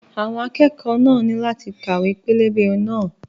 Àwọn akẹ́kọ̀ọ́ náà ní láti ka ìwé pẹlẹbẹ náà.